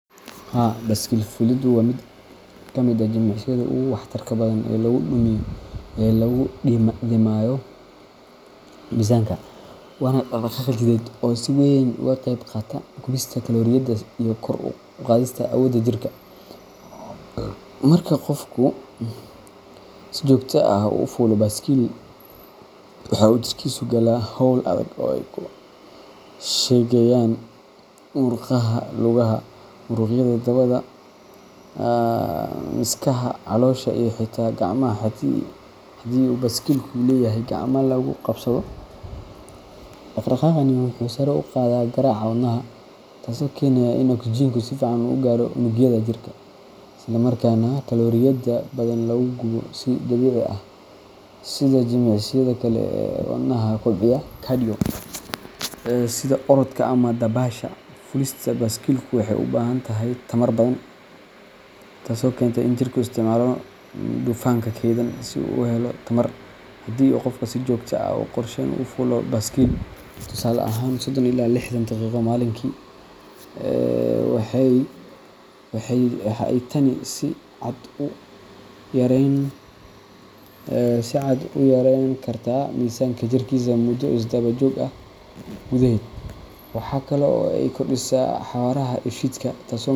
Haa, baskil fuulidu waa mid ka mid ah jimicsiyada ugu waxtarka badan ee lagu dhimayo miisaanka, waana dhaqdhaqaaq jidheed oo si weyn uga qayb qaata gubista kalooriyada iyo kor u qaadista awoodda jirka. Marka qofku si joogto ah u fuulo baskil, waxa uu jirkiisu galaa hawl adag oo ay ku shaqeeyaan murqaha lugaha, muruqyada dabada, miskaha, caloosha iyo xitaa gacmaha haddii uu baskilku leeyahay gacmaha lagu qabsado. Dhaqdhaqaaqani wuxuu sare u qaadaa garaaca wadnaha, taasoo keenaysa in oksijiinku si fiican u gaaro unugyada jirka, isla markaana kalooriyada badan lagu gubo si dabiici ah. Sida jimicsiyada kale ee wadnaha kobciya cardio, sida orodka ama dabaasha, fuulista baaskiilku waxay u baahan tahay tamar badan, taasoo keenta in jirku isticmaalo dufanka keydsan si uu u helo tamar. Haddii qofku si joogto ah oo qorshaysan u fuulo baskil tusaale ahaan sodon ilaa lixdan daqiiqo maalintii waxa ay tani si cad u yareyn kartaa miisaanka jirkiisa muddo isdaba joog ah gudaheed. Waxa kale oo ay kordhisaa xawaaraha dheefshiidka, taasoo muhiim.